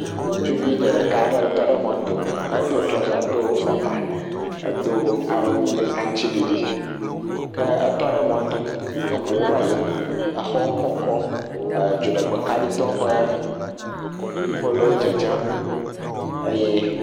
ŋutsuvi dzeɖeka ɖe tɔ ɖe mɔto edó trɔza kple fɔkpa dó awu aŋtsiɖiɖi ke etɔ ɖe mɔto eʋuwo va yim exɔwo kɔkɔ dzoɖegbe kaɖi tɔwo ƒe polwo dzedzem eye